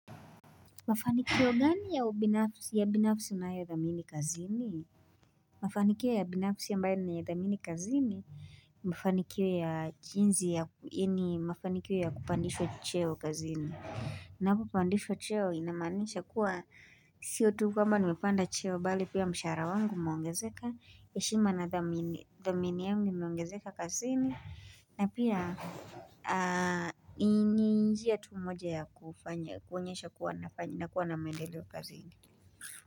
Mafanikio gani ya ubinafsi ya binafsi unayo thamini kazini? Mafanikio ya binafsi ya ambayo na yo ithamini kazini, mafanikio ya jinsi ya ini, mafanikio ya kupandishwa cheo kazini. Napo pandishwa cheo inamanisha kuwa, sio tu kwamba nimepanda cheo, bali pia mshara wangu umeongezeka, heshima na thamini yangu imeongezeka kazini, na pia, ni njia tu moja ya kufanya, kuonyesha kuwa na maendeleo kazini.